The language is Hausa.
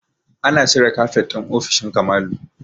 An cire kafet ɗin ofishin Kamalu